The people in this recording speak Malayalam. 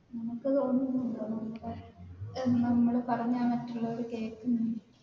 നിനക്ക് തോന്നുന്നുണ്ടോ എന്താ നമ്മൾ പറഞ്ഞാൽ മറ്റുള്ളവർ കേൾക്കുമെന്ന്?